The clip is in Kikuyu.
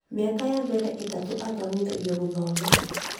Mĩaka ya mbere itatũ athomithagio gũthoma